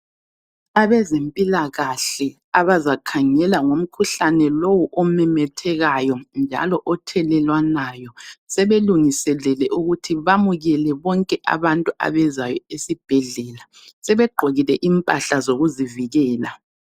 Abezempilakahle abazakhangela ngomkhuhlane lowu omemethekayo njalo othelelwanayo sebelungiselele ukuthi bamukele bonke abantu abezayo esibhedlela. Sebegqokile impahla zokuzivikela.